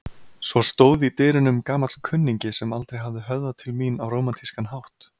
Svo stóð í dyrunum gamall kunningi sem aldrei hafði höfðað til mín á rómantískan hátt.